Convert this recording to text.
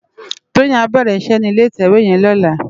Toyin á bèrè iṣè ni ilé itèwé yèn lòlá